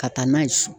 Ka taa n'a ye so